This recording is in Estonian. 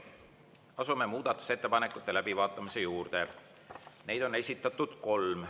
Asume muudatusettepanekute läbivaatamise juurde, neid on esitatud kolm.